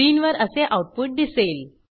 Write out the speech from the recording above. स्क्रीनवर असे आऊटपुट दिसेल